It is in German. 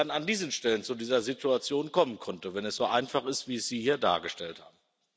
an diesen Stellen zu dieser Situation kommen konnte, wenn es so einfach ist, wie Sie es hier dargestellt haben.